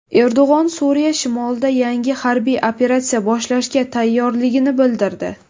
Erdo‘g‘on Suriya shimolida yangi harbiy operatsiya boshlashga tayyorligini bildirdi.